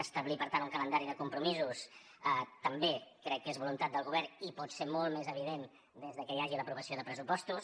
establir per tant un calendari de compromisos també crec que és voluntat del govern i pot ser molt més evident des que hi hagi l’aprovació de pressupostos